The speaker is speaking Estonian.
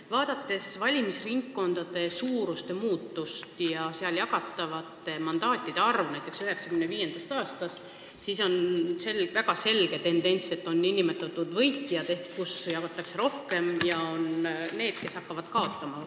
Kui vaadata valimisringkondade suuruse muutumist ja seal jagatavate mandaatide arvu näiteks alates 1995. aastast, siis on näha väga selge tendents, et on nn võitjad, st ringkonnad, kus jagatakse rohkem mandaate, ja on neid, kes hakkavad kaotama.